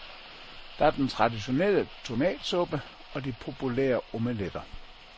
Der er den traditionelle tomatsuppe og de populære omeletter.